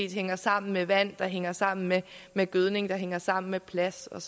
hænger sammen med vand der hænger sammen med med gødning der hænger sammen med plads og